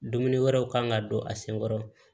Dumuni wɛrɛw kan ka don a senkɔrɔ